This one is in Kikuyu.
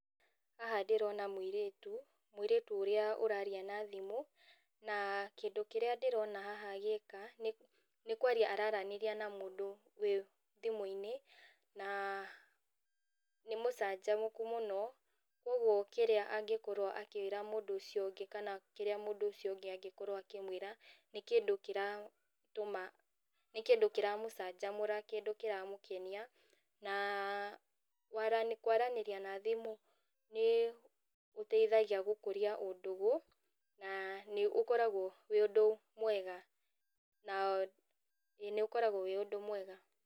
Haha ndĩrona mũirĩtu, mũirĩtu ũrĩa ũraria na thimũ, na kĩndũ kĩrĩa ndĩrona haha agĩka, nĩ nĩkwaria araranĩria na mũndũ wĩ thimũ-inĩ, na nĩ mũcanjamũku mũno, koguo kĩrĩa angĩkorwo akĩra mũndũ ũcio ũngĩ kana kĩrĩa mũndũ ũcio ũngĩ angĩkorwo akĩmwĩra, nĩ kĩndũ kĩra tũma, nĩ kĩndũ kĩramũcanjamũra kĩndũ kĩramũkenia na, wara kwaranĩria na thimũ nĩ, gũteithagia gũkũria ũndũgũ, nanĩ ũkoragwo wĩ ũndũ mwega, na, ĩ nĩũkoragwo wĩ ũndũ mwega.